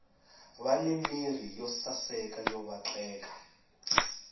vani mirhi yo saseka yo vatleka